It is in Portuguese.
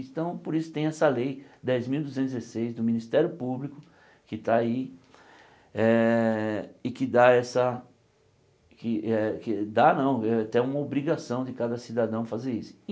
Então por isso tem essa lei dez mil duzentos e dezesseis do Ministério Público que está aí eh e que dá essa que eh que... dá não, é até uma obrigação de cada cidadão fazer isso.